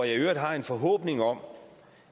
i øvrigt har en forhåbning om